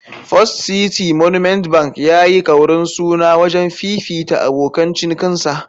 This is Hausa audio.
First City Monument Bank (FCMB) ya yi kaurin suna wajen fifita abokan cinikinsa.